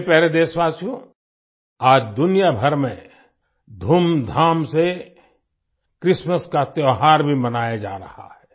मेरे प्यारे देशवासियो आज दुनियाभर में धूमधाम से क्रिस्टमास का त्योहार भी मनाया जा रहा है